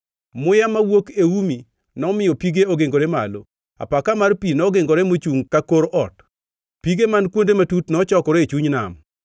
Muya mawuok e umi nomiyo pige ogingore malo. Apaka mar pi nogingore mochungʼ ka kor ot; pige man kuonde matut nochokore e chuny nam.”